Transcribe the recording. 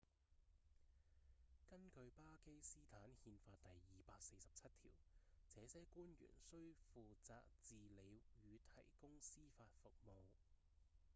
根據巴基斯坦憲法第247條這些官員需負責治理與提供司法服務